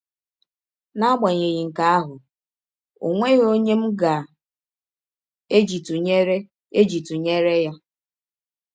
N’agbanyeghị nke ahụ, ọ nweghị ọnye m ga - eji tụnyere - eji tụnyere ya.